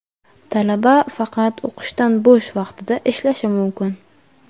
talaba faqat o‘qishdan bo‘sh vaqtida ishlashi mumkin.